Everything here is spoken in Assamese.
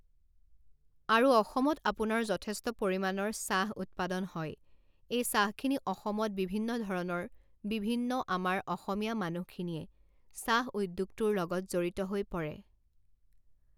আৰু অসমত আপোনাৰ যথেষ্ট পৰিমাণৰ চাহ উৎপাদন হয় এই চাহখিনি অসমত বিভিন্নধৰণৰ বিভিন্ন আমাৰ অসমীয়া মানুহখিনিয়ে চাহ উদ্যোগটোৰ লগত জড়িত হৈ পৰে।